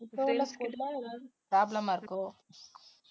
இப்போ அந்த school ல ஏதாவது problem ஆ இருக்கோ